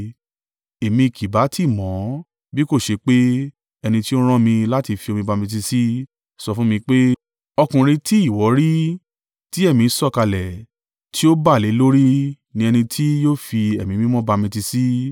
Èmi kì bá tí mọ̀ ọ́n, bí kò ṣe pé ẹni tí ó rán mi láti fi omi bamitiisi sọ fún mi pé, ‘Ọkùnrin tí ìwọ rí tí Ẹ̀mí sọ̀kalẹ̀ tí ó bà lé lórí ni ẹni tí yóò fi Ẹ̀mí Mímọ́ bamitiisi.’